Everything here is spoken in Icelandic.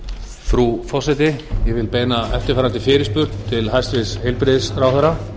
frú forseti ég vil beina eftirfarandi fyrirspurn til hæstvirts heilbrigðisráðherra